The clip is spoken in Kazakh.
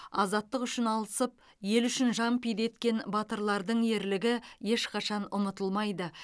азаттық үшін алысып ел үшін жан пида еткен батырлардың ерлігі ешқашан ұмытылмайды